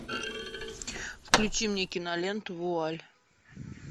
включи мне киноленту вуаль